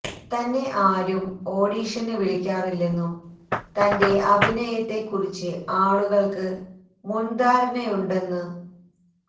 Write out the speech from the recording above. തന്നെ ആരും ഓഡീഷന് വിളിക്കാറില്ലെന്നും തന്റെ അഭിനയത്തെ കുറിച്ച് ആളുകൾക്ക് മുൻധാരണയുണ്ടെന്ന് തോ